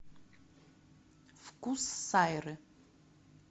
вкус сайры